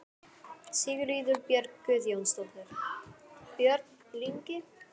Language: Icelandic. Sigríður Björk Guðjónsdóttir: Björn Ingi?